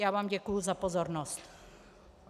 Já vám děkuji za pozornost.